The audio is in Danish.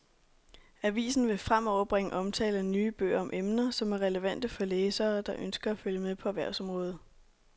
Avisen vil fremover bringe omtale af nye bøger om emner, som er relevante for læsere, der ønsker at følge med på erhvervsområdet.